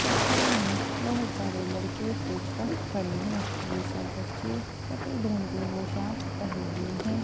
इस तस्वीर में बहुत सारे लड़के स्टेज पर खड़े हैं यह सब बच्चे सफेद रंग की पोशाक पहने हुए हैं।